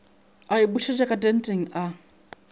a iphošetša ka tenteng a